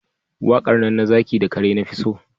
Waƙar nan na zaki da kare na fi so